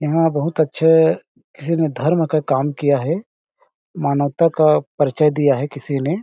जहाँ बहुत अच्छे किसी ने धर्म का काम किया है मानवता का परिचय दिया है किसी ने --